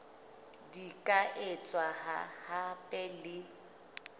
di ka etswa hape le